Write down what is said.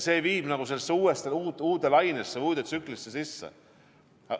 See viib hoopis uude lainesse, uude tsüklisse.